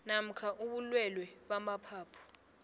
namkha ubulwelwe bamaphaphu